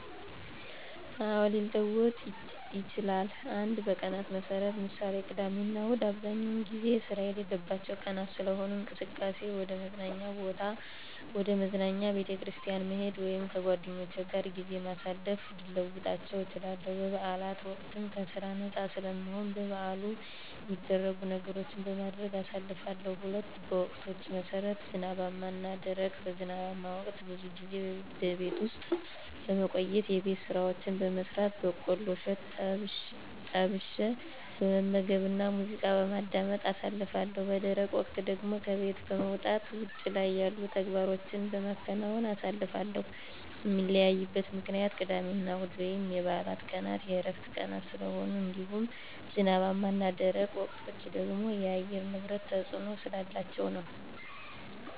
አዎ፣ ሊለወጥ ይችላል። 1. በቀናት መሠረት ( ምሳሌ፦ ቅዳሜና እሁድ) በአብዛኛው ጊዜ ስራ የሌለባቸው ቀናት ስለሆኑ፣ እንቅስቃሴየ ወደ መዝናኛ፣ ቤተክርስቲያን መሄድ ወይም ከጓደኞቼ ጋር ጊዜ በማሳለፍ ልለውጣቸው እችላለሁ። በበዓላት ወቅትም ከስራ ነፃ ስለምሆን በበዓሉ ሚደረጉ ነገሮችን በማድረግ አሳልፋለሁ። 2. በወቅቶች መሠረት ( ዝናባማ እና ደረቅ ) በዝናባማ ወቅት ብዙ ጊዜ በቤት ውስጥ በመቆየት የቤት ስራዎችን በመስራት፣ በቆሎ እሸት ጠብሸ በመመገብና ሙዚቃ በማዳመጥ አሳልፋለሁ። _ በደረቅ ወቅት ደግሞ ከቤት በመውጣት ውጭ ላይ ያሉ ተግባሮቸን በመከወን አሳልፋለሁ። ሚለያይበት ምክንያትም ቅዳሜና እሁድ ወይም የበዓላት ቀናት የዕረፍት ቀናት ስለሆኑ እንዲሁም ዝናባማ እና ደረቅ ወቅቶች ደግሞ የአየር ንብረት ተፅዕኖ ስላላቸው ነዉ።